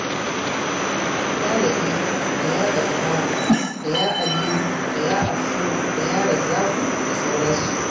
Ya Laɗifu da Ya Gaffaru da Ya Alimu da Ya Afuwu da Razzaƙu da sauransu.